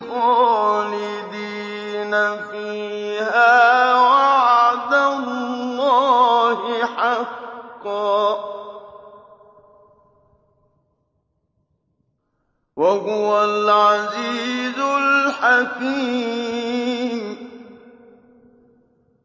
خَالِدِينَ فِيهَا ۖ وَعْدَ اللَّهِ حَقًّا ۚ وَهُوَ الْعَزِيزُ الْحَكِيمُ